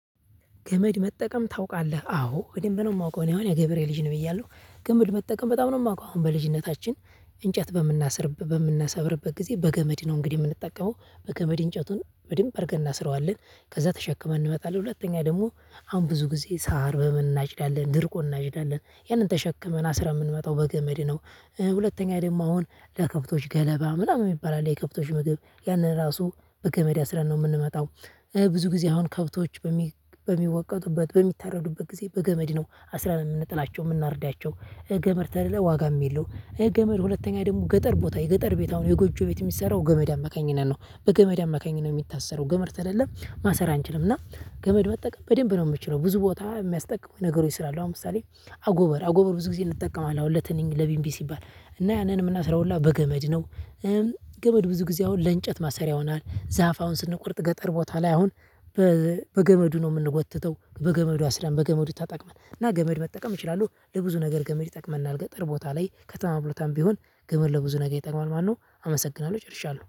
ገመድ መጠቀም ታውቃለህ አዎ ወደ ደንብ ነው የማውቀው እኔ አሁን የገብሬ ልጅ ነው ብያለሁ ገመድ መጠቀም በጣም ነው የማውቀው። አሁን በልጅነታችን እንጨት በምናስርበት በምናሰብርበት ጊዜ በገመድ ነው እንግዲህ የምንጠቀመው። በገመድ እንጨቱን በድንበ አርገን እናስራዋለን ከዛ ተሸክመን እንመጣለን። ሁለተኛ ደግሞ አሁን ብዙ ጊዜ ሳር በምን እናጭዳለን ድርቁን እናጭዳለን ያንን ተሸክመን አስረን የምንመጣው በገመድ ነው። ሁለተኛ ደግሞ አሁን ለከብቶች ገለባ ምናምን የሚባል አለ የብቶች ምግብ ያንን ራሱ በገመድ አስረን ነው የምንመጣው። ብዙ ጊዜ አሁን ከብቶች በሚወቀጡበት በሚተረዱበት ጊዜ በገመድ ነው አስራን የምንጥላቸው የምናርዳቸው። ገመድ ተሌለ ዋጋም የለው። ገመድ ሁለተኛ ደግሞ ገጠር ቦታ የገጠር ቤት አሁን የጎጆ ቤት የሚሰራው ገመድ አማካኝነት ነው። በገመድ አማካኝነት የሚታሰረው ገመድ ተሌለ ማሰር አንችልም። እና ገመድ መጠቀም በደንብ ነው የምችለው። ብዙ ቦታ የሚያስጠቅሙ ነገሮች ስላሉ አሁን ለምሳሌ አጎበር አጎበር ብዙ ጊዜ እንጠቀማለን። አሁን ለትንኝ ለቢምቢ ሲባል እና ያንን የምናስራውላ በገመድ ነው። ገመድ ብዙ ጊዜ አሁን ለእንጨት ማሰሪያ ይሆናል። ዛፍ አሁን ስንቆርጥ ገጠር ቦታ ላይ አሁን በገመዱ ነው የምንጎትተው። በገመዱ አስረን በገመዱ ተጠቅመን ገመድ መጠቀም እችላለሁ። ለብዙ ነገር ገመድ ይጠቅመናል። ገጠር ቦታ ላይ ከተማ ቦታም ቢሆን ገመድ ለብዙ ነገር ይጠቅማል ማለት ነው። አመሰግናለሁ ጨርሻለሁ